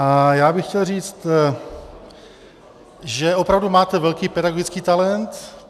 A já bych chtěl říct, že opravdu máte velký pedagogický talent.